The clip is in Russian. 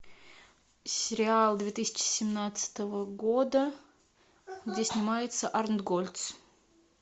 сериал две тысячи семнадцатого года где снимается арнтгольц